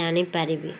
ଜାଣି ପାରିବି